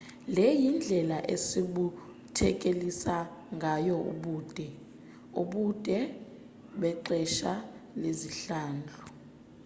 le yindlela esibuthelekisa ngayo ubude ubude bexesha lezihlandlo